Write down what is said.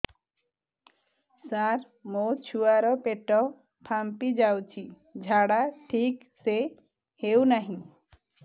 ସାର ମୋ ଛୁଆ ର ପେଟ ଫାମ୍ପି ଯାଉଛି ଝାଡା ଠିକ ସେ ହେଉନାହିଁ